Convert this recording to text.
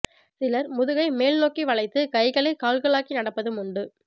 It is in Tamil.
சிலர் முதுகை மேல் நோக்கி வளைத்து கைகளை கால்களாக்கி நடப்பதும் உண்டு